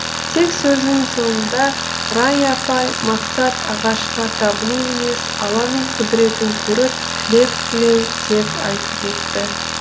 тек сөзінің соңында рая апай мақсат ағашқа табыну емес алланың құдіретін көріп тілек тілеу деп айтып өтті